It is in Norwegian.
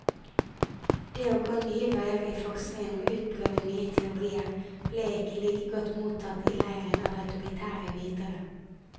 Det å gå nye veier i forskningen og utprøve nye teorier ble ikke like godt mottatt i leiren av autoritære vitere.